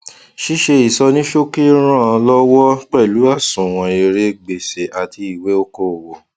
ṣíṣe ìsọníṣókì ràn lọwọ pẹlú àsunwon èrè gbèsè àti ìwé okòòwò